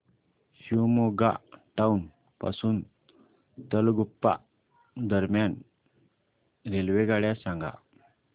Shivamogga town पासून तलगुप्पा दरम्यान रेल्वेगाड्या सांगा